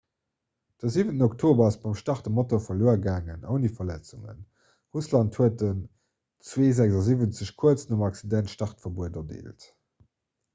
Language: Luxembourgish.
de 7 oktober ass beim start e motor verluer gaangen ouni verletzungen russland huet den ii-76 kuerz nom accident startverbuet erdeelt